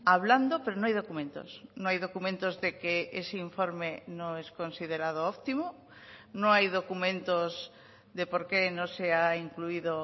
hablando pero no hay documentos no hay documentos de que ese informe no es considerado optimo no hay documentos de por qué no se ha incluido